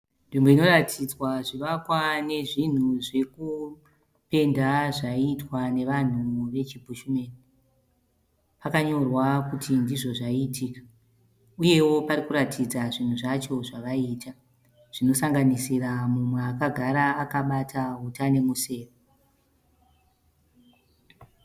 Nzvimbo inoratidzwa zvivakwa nezvinhu zvekupenda zvaiitwa nevanhu vechi Bhushumeni. Pakanyorwa kuti ndizvo zvaiitika. Uyewo parikuratidza zvinhu zvacho zvavaiita zvinosanganisira mumwe akagara akabata uta nemusewe.